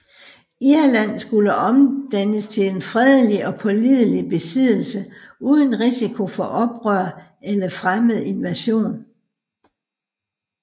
Irland skulle omdannes til en fredelig og pålidelig besiddelse uden risiko for oprør eller fremmed invasion